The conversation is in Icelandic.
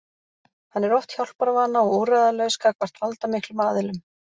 Hann er oft hjálparvana og úrræðalaus gagnvart valdamiklum aðilum.